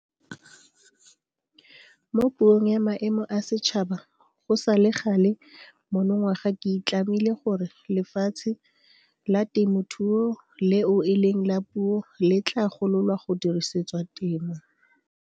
Mo Puong ya Maemo a Setšhaba go sale gale monongwaga ke itlamile gore lefatshe la temothuo leo eleng la puso le tla gololwa go dirisetswa temo.